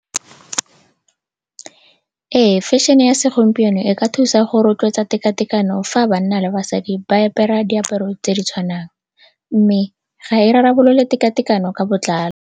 Ee, fashion-e ya segompieno e ka thusa go rotloetsa tekatekano fa banna le basadi ba apara diaparo tse di tshwanang mme ga e rarabolole tekatekano ka botlalo.